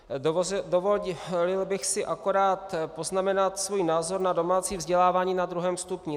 Dovolil bych si jen poznamenat svůj názor na domácí vzdělávání na 2. stupni.